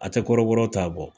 A tɛ kɔrɔbɔrɔ ta bɔ.